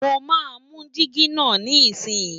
mọ má nu Digi nà ní isi yi